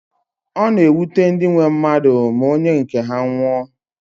Ọ na-ewute ndị nwe mmadụ ma onye nke ha nwụọ